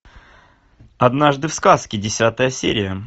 однажды в сказке десятая серия